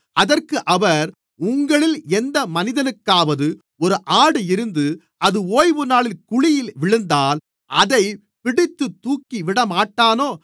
அதற்கு அவர் உங்களில் எந்த மனிதனுக்காவது ஒரு ஆடு இருந்து அது ஓய்வுநாளில் குழியிலே விழுந்தால் அதைப் பிடித்துத் தூக்கிவிடமாட்டானோ